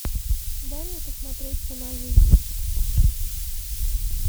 дай мне посмотреть цена жизни